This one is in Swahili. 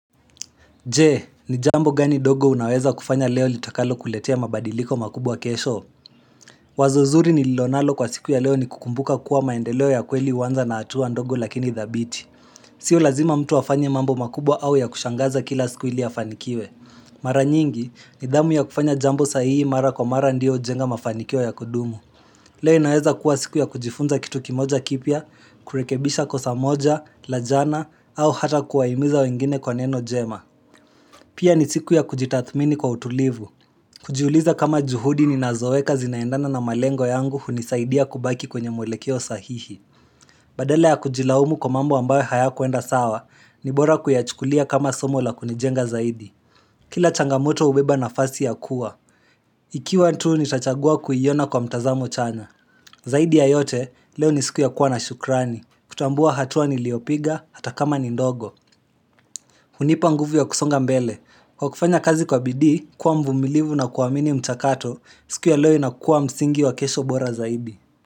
Je, ni jambo gani ndogo unaweza kufanya leo litakalokuletea mabadiliko makubwa kesho? Wazo zuri nililo nalo kwa siku ya leo ni kukumbuka kuwa maendeleo ya kweli huanza na hatua ndogo lakini dhabiti. Sio lazima mtu afanye mambo makubwa au ya kushangaza kila siku ili afanikiwe. Mara nyingi, nidhamu ya kufanya jambo sahihi mara kwa mara ndiyo hujenga mafanikio ya kudumu. Leo inaweza kuwa siku ya kujifunza kitu kimoja kipya, kurekebisha kosa moja la jana, au hata kuwahimiza wengine kwa neno njema. Pia ni siku ya kujitathmini kwa utulivu. Kujiuliza kama juhudi ninazoweka zinaendana na malengo yangu hunisaidia kubaki kwenye mwelekeo sahihi. Badala ya kujilaumu kwa mambo ambayo hayakwenda sawa, ni bora kuyachukulia kama somo la kunijenga zaidi. Kila changamoto hubeba nafasi ya kuwa. Ikiwa tu nitachagua kuiona kwa mtazamo chana. Zaidi ya yote, leo ni siku ya kuwa na shukrani. Kutambua hatua niliopiga, hata kama ni ndogo. Hunipa nguvu ya kusonga mbele. Kwa kufanya kazi kwa bidii, kuwa mvumilivu na kuamini mchakato, siku ya leo inakuwa msingi wa kesho bora zaidi.